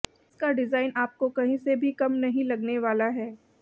इसका डिज़ाइन आपको कहीं से भी कम नहीं लगने वाला है